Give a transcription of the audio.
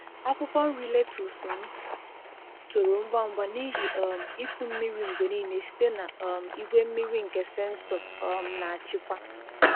Akwụkwọ nri lettuce m toro ngwa ngwa n’ihi um ịkụ mmiri mgbe niile site na um igwe mmiri nke sensọ um na-achịkwa.